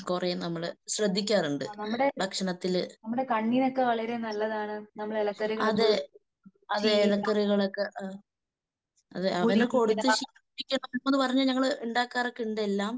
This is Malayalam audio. കൊറേ നമ്മള് ശ്രദ്ധിക്കാറുണ്ട് ഭക്ഷണത്തില്. അതേ അതേ ഇലക്കറികളൊക്കെ. അതെ അവന് കൊടുത്ത് ശീലിക്കണംന്ന് പറഞ്ഞ് ഞങ്ങൾ ഉണ്ടാക്കാറോക്കെയുണ്ട് എല്ലാം.